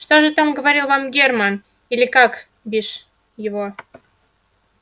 что же говорил вам германн или как бишь его